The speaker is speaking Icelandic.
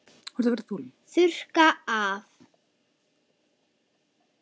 Þurrka af.